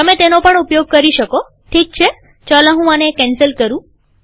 તમે તેનો પણ ઉપયોગ કરી શકોઠીક છેચાલો હું આને કેન્સલ કરું